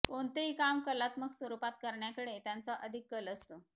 कोणतेही काम कलात्मक स्वरूपात करण्याकडे त्यांचा अधिक कल असतो